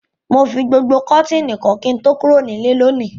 Mo fi gbogbo kọ́tìnì kọ́ kí n tó kúrò nílé lónìí.